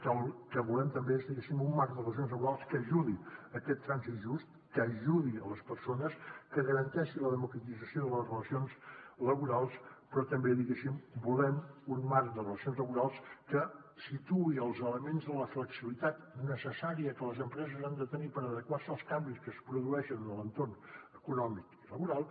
que el que volem també és diguéssim un marc de relacions laborals que ajudi en aquest trànsit just que ajudi les persones que garanteixi la democratització de les relacions laborals però també diguéssim volem un marc de relacions laborals que situï els elements de la flexibilitat necessària que les empreses han de tenir per adequar se als canvis que es produeixen a l’entorn econòmic i laboral